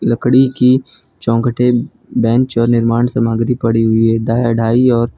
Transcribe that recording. लकड़ी की चौखटे बेंच और निर्माण सामग्री पड़ी हुई है द ढाई और --